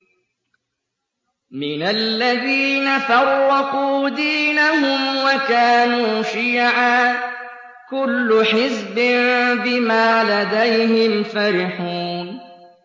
مِنَ الَّذِينَ فَرَّقُوا دِينَهُمْ وَكَانُوا شِيَعًا ۖ كُلُّ حِزْبٍ بِمَا لَدَيْهِمْ فَرِحُونَ